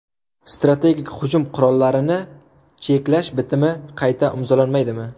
Strategik hujum qurollarini cheklash bitimi qayta imzolanmaydimi?